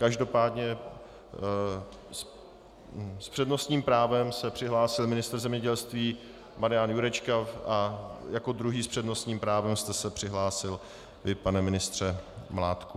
Každopádně s přednostním právem se přihlásil ministr zemědělství Marian Jurečka a jako druhý s přednostním právem jste se přihlásil vy, pane ministře Mládku.